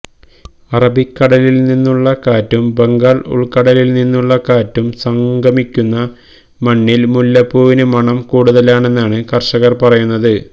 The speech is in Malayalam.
അറബിക്കടലില്നിന്നുള്ള കാറ്റും ബംഗാള് ഉള്ക്കടലില്നിന്നുള്ള കാറ്റും സംഗമിക്കുന്ന മണ്ണില് മുല്ലപ്പൂവിന് മണം കൂടുതലാണെന്നാണ് കര്ഷകര് പറയുന്നത്